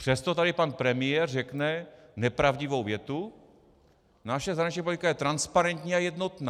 Přesto tady pan premiér řekne nepravdivou větu: naše zahraniční politika je transparentní a jednotná.